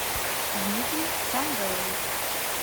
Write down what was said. дмитрий самвелович